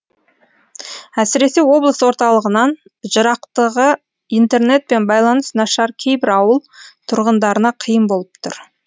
әсіресе облыс орталығынан жырақтағы интернет пен байланыс нашар кейбір ауыл тұрғындарына қиын болып тұр